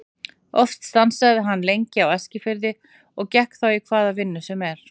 Oft stansaði hann lengi á Eskifirði og gekk þá í hvaða vinnu sem var.